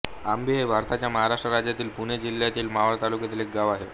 आंबी हे भारताच्या महाराष्ट्र राज्यातील पुणे जिल्ह्यातील मावळ तालुक्यातील एक गाव आहे